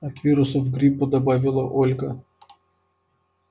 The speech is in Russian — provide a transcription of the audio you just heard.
от вирусов гриппа добавила ольга